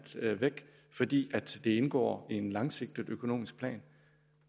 væk fordi det indgår i en langsigtet økonomisk plan